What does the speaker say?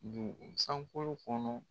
Dun sankolo kɔnɔ